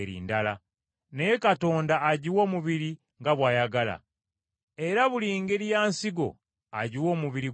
Naye Katonda agiwa omubiri nga bw’ayagala, era buli ngeri ya nsigo agiwa omubiri gwayo.